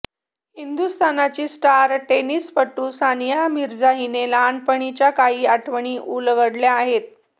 हिंदुस्थानची star टेनिसपटू सानिया मिर्झा हिने लहानपणीच्या काही आठवणी उलगडल्या आहेत